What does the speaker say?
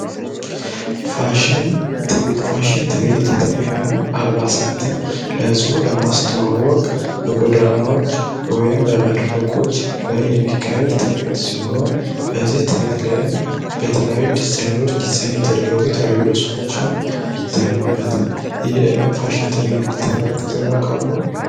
ፋሽን ትሪት የተለያዩ አልሳትን ለህዝቡ ለማስተዋወቅ በጎዳናዎች በመድረኮች ላይ የሚካሄድ ትሪት ሲሆን በዚህ ትሪት ላይም በተለያዩ ዲዛይነሮች ዲዛይን የተደረጉ የተያዩ ልብሶችም ይታዩበታል ፋሽን ትሪት ተመልክተው ያቃሉ?